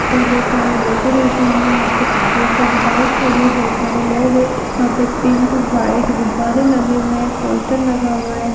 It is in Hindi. और बहुत सारा डेकोरेशन है यहाँ पे बहुत सारी बाइक खड़ी है बहुत सारे लोग हैं यहाँ पे पिंक वाइट गुब्बारे लगे हुए हैं एक पोस्टर लगा हुआ है।